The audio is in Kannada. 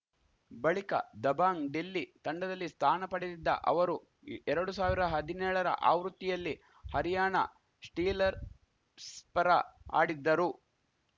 ಬಳಿಕ ದಬಾಂಗ್‌ ಡೆಲ್ಲಿ ತಂಡದಲ್ಲಿ ಸ್ಥಾನ ಪಡೆದಿದ್ದ ಅವರು ಎರಡು ಸಾವಿರ ಹದಿನೇಳರ ಆವೃತ್ತಿಯಲ್ಲಿ ಹರ್ಯಾಣ ಸ್ಟೀಲರ್ ಸ್ ಪರ ಆಡಿದ್ದರು